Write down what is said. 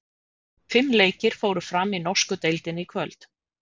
Fimm leikir fóru fram í norsku deildinni í kvöld.